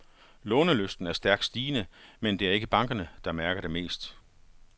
Lånelysten er stærkt stigende, men det er ikke bankerne, der mærker det mest.